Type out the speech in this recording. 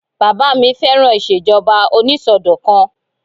Bàbá mi fẹ́ràn ìṣèjọba onísọdọ̀kan